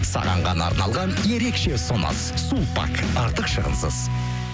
саған ғана арналған ерекше ұсыныс сулпак артық шығынысыз